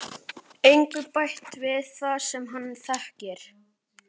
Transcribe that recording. Engu bætt við það sem hann þekkir.